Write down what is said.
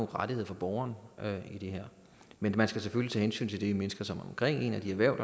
rettigheder for borgeren i det her man skal selvfølgelig tage hensyn til de mennesker som er omkring en og de erhverv